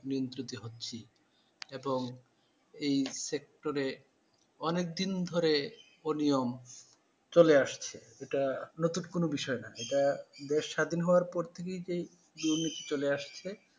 নিয়ন্ত্রিত হচ্ছি, এবং এই sector এ অনেক দিন ধরে অনিয়ম চলে আসছে এটা নতুন কোনো বিষয় না এটা দেশ স্বাধীন হবার পর থেকেই তো দুর্নীতি চলে আসছে।